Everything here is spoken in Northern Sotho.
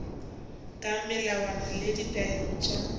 ka melawana le ditaelo tša